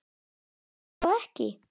Er hún þá ekki?